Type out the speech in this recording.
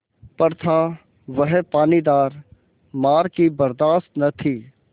पर था वह पानीदार मार की बरदाश्त न थी